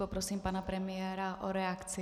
Poprosím pana premiéra o reakci.